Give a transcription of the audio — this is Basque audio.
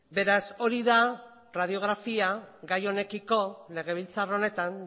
beraz hori da radiografia gai honekiko legebiltzar honetan